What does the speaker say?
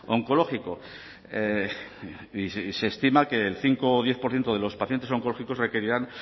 oncológico y se estima que el cinco o diez por ciento de los pacientes oncológicos requerirán